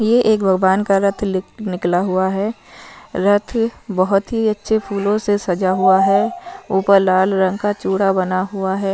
ये एक भगवान का रथ लिक निकला हुआ है रथ बहुत ही अच्छे फूलों से सजा हुआ है ऊपर लाल रंग का छुड़ा बना हुआ है।